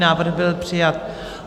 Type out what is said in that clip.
Návrh byl přijat.